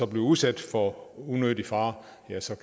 bliver udsat for unødig fare